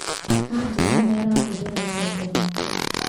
Anjĩra nĩarahũthĩra icembe rĩake